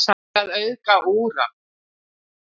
hvað er að auðga úran